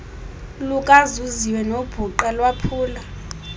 lukazuziwe nobhuqa lwaphula